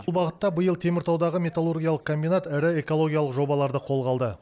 бұл бағытта биыл теміртаудағы металлургиялық комбинат ірі экологиялық жобаларды қолға алды